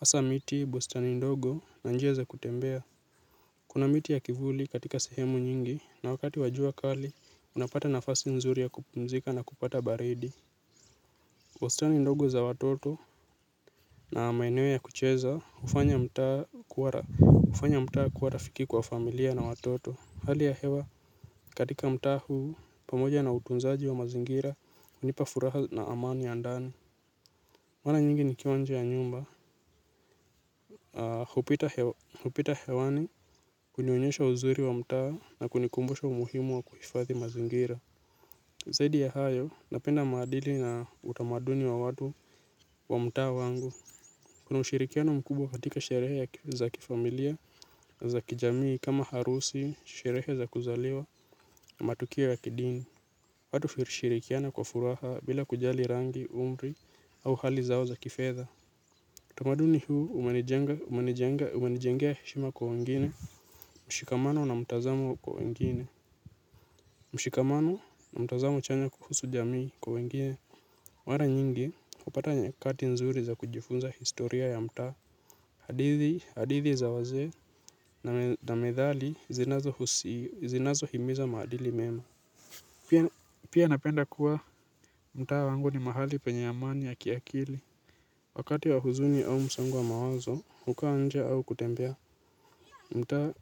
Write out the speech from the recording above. Hasa miti bustani ndogo na njia za kutembea kuna miti ya kivuli katika sehemu nyingi na wakati wa jua kali unapata nafasi nzuri ya kupumzika na kupata baridi. Bustani ndogo za watoto na maeneo ya kucheza hufanya mtaa kuwa rafiki kwa familia na watoto. Hali ya hewa katika mtaa huu pamoja na utunzaji wa mazingira hunipa furaha na amani ya ndani. Mara nyingi nikiwa nje ya nyumba, hupita hewani hunionyesha uzuri wa mtaa na kunikumbusha umuhimu wa kuhifadhi mazingira. Zadi ya hayo, napenda maadili na utamaduni wa watu wa mtaa wangu. Kuna ushirikiano mkubwa katika sherehe ya za kifamilia, za kijamii kama harusi, sherehe za kuzaliwa, matukio ya kidini. Watu hushirikiana kwa furaha bila kujali rangi, umri au hali zao za kifedha. Tamaduni huu umenijengea heshima kwa wengine, mshikamano na mtazamo kwa wengine. Mshikamano na mtazamo chanya kuhusu jamii kwa wengine. Mara nyingi hupata nyakati nzuri za kujifunza historia ya mtaa. Hadithi, hadithi za wazee na methali zinazohimiza maadili mema. Pia napenda kuwa mtaa wangu ni mahali penye amani ya kiakili. Wakati wa huzuni au msongo wa mawazo hukaa nje au kutembea mtaa.